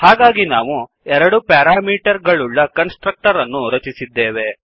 ಹಾಗಾಗಿ ನಾವು ಎರಡು ಪ್ಯಾರಾಮೀಟರ್ ಗಳುಳ್ಳ ಕನ್ಸ್ ಟ್ರಕ್ಟರ್ ಅನ್ನು ರಚಿಸಿದ್ದೇವೆ